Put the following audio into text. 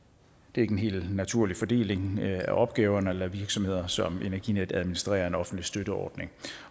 er ikke en helt naturlig fordeling af opgaverne at lade virksomheder som energinet administrere en offentlig støtteordning